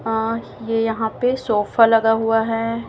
हां ये यहा पे सोफा लगा हुआ है।